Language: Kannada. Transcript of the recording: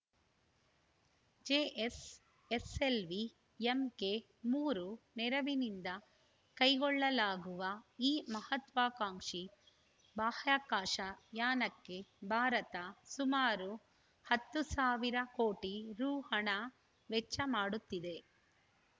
ಜಿಎಸ್‌ಎಸಲ್‌ವಿ ಎಂಕೆ ಮೂರು ನೆರವಿನಿಂದ ಕೈಗೊಳ್ಳಲಾಗುವ ಈ ಮಹತ್ವಾಕಾಂಕ್ಷಿ ಬಾಹ್ಯಾಕಾಶ ಯಾನಕ್ಕೆ ಭಾರತ ಸುಮಾರು ಹತ್ತು ಸಾವಿರ ಕೋಟಿ ರು ಹಣ ವೆಚ್ಚ ಮಾಡುತ್ತಿದೆ